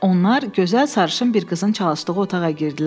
Onlar gözəl sarışın bir qızın çalışdığı otağa girdilər.